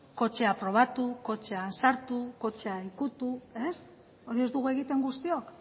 kotxea probatu kotxean sartu kotxea ukitu ez hori ez dugu egiten guztiok